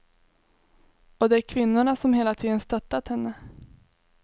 Och det är kvinnorna som hela tiden stöttat henne.